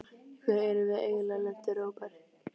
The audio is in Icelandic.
Í hverju erum við eiginlega lent, Róbert?